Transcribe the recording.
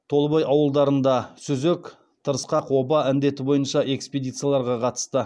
толыбай ауылдарында сүзек тырысқақ оба індеті бойынша экспедицияларға қатысты